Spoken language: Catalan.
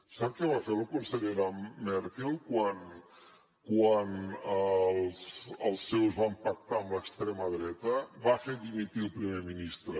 sap què va fer la cancellera merkel quan els seus van pactar amb l’extrema dreta va fer dimitir el primer ministre